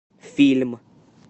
фильм